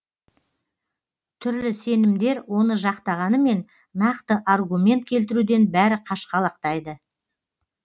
түрлі сенімдер оны жақтағанымен нақты аргумент келтіруден бәрі қашқалақтайды